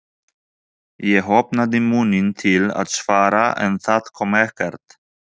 Ég opnaði munninn til að svara en það kom ekkert.